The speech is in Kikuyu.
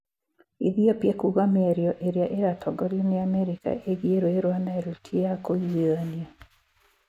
Ethiopia kuuga mĩario ĩrĩa ĩratongorio nĩ Amerika ĩgiĩ rũũĩ rwa Nile ti ya kũiguithania.